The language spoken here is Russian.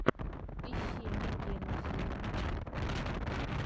ищи мергену зиму